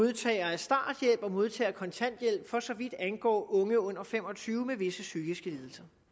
modtagere af starthjælp og modtagere af kontanthjælp for så vidt angår unge under fem og tyve år med visse psykiske